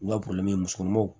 U ka musokɔnɔmaw